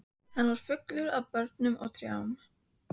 Hann var fullur af börnum og trjám.